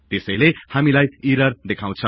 त्यसैले हामीलाई ईरर् देखाउछ